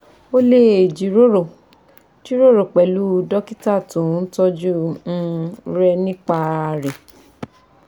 O leè jíròrò jíròrò pẹ̀lú dókítà tó ń tọọ́jú um rẹ nípa rẹ̀